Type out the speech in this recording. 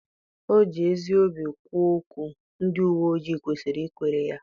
O ji ezi obi kwuo okwu, ndị uwe ojii kwesịrị ikwere ya.